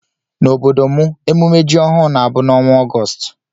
Na ọbọdọ mụ emume jị ọhụụ na abụ na ọnwa Augoostu.